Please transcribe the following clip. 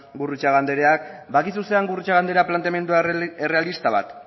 gurrutxaga andereak badakizu zer den gurrutxaga anderea planteamendu errealista bat